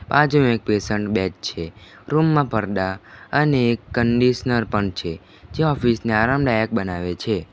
બાજુએ એક patient bag પણ છે રૂમમાં પરદા અને એક કન્ડીશનર પણ છે જે ઓફિસને આરામદાયક બનાવે છે.